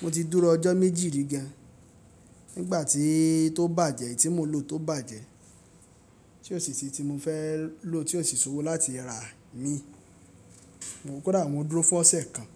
Mo ti dúró ọjọ́ méjì rí gan. Nígbà tí tó bàjẹ́, èyí tí mo lò tó bàjẹ́. Tí òṣìṣẹ́ tí mo fẹ́ lò tí ò sì ṣowó láti ra mi. Mo kùdà mú dúró fún ọ̀ṣẹ́ kan.